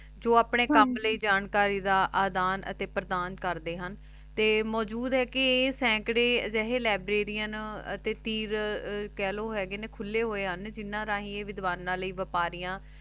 ਜੋ ਅਪਨੇ ਕਾਮ ਲੈ ਜਾਣਕਾਰੀ ਦਾ ਆਦਾਨ ਤੇ ਪ੍ਰਦਾਨ ਕਰਦੇ ਹਨ ਤੇ ਮੋਜੂਦ ਹੈ ਕੇ ਆਹੀ ਸੀਕਰੀ ਜੇਹੇ ਲੈਬ੍ਰਾਰੀਆਂ ਅਤੀ ਤੀਰ ਕੇਹ੍ਲੋ ਹੇਗੇ ਨੇ ਖੁਲੇ ਹੋਆਯ ਹਨ ਜਿਨਾਂ ਰਹੀ ਈਯ ਵਿਦਵਾਨਾਂ ਲੈ ਵਿਆਪਾਰੀਆਂ